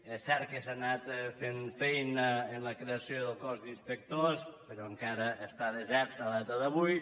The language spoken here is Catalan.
és cert que s’ha anat fent feina amb la creació del cos d’inspectors però encara està desert a data d’avui